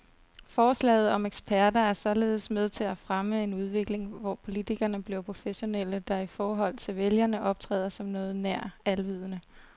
Forslaget om eksperter er således med til at fremme en udvikling, hvor politikerne bliver professionelle, der i forhold til vælgerne optræder som noget nær alvidende.